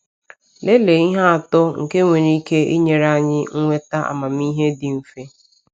Lelee ihe atọ nke nwere ike inyere anyị nweta amamihe dị mfe.